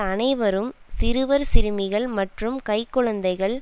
அனைவரும் சிறுவர் சிறுமிகள் மற்றும் கைக்குழந்தைகள்